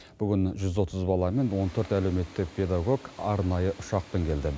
бүгін жүз отыз бала мен он төрт әлеуметтік педагог арнайы ұшақпен келді